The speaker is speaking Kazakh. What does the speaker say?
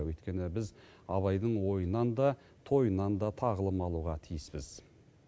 өйткені біз абайдың ойынан да тойынан да тағылым алуға тиіспіз